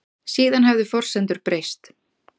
Síðan hefðu forsendur breyst